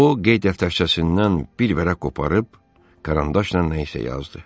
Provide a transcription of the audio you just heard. O qeydiyyat dəftərçəsindən bir vərəq qoparıb karandaşla nəysə yazdı.